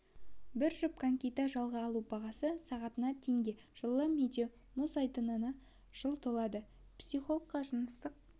бір жұп конькиді жалға алу бағасы сағатына теңге жылы медеу мұз айдынына жыл толады психологқа жыныстық